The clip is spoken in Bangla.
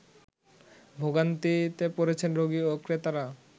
ভোগান্তিতে পড়েছেন রোগী ও ক্রেতারা